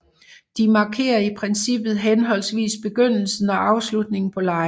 De markerer i princippet henholdsvis begyndelsen og afslutningen på legene